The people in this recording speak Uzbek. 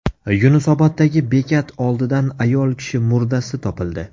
Yunusoboddagi bekat oldidan ayol kishi murdasi topildi.